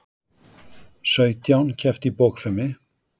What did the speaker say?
Sautján kepptu í bogfimi